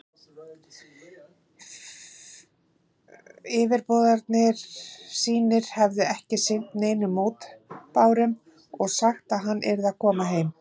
Yfirboðarar sínir hefðu ekki sinnt neinum mótbárum og sagt, að hann yrði að koma heim.